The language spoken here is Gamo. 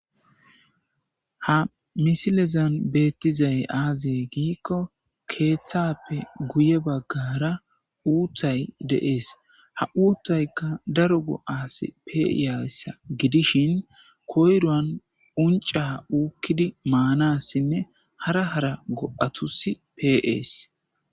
Ha misilezan beettizay aaze giikko keeththappe guye baggara uutthay deees ha uuttaykka daro goo7aasi peiayssa gidishin koyroan unca uukkidi maanassinne hara hara go'atusi peees.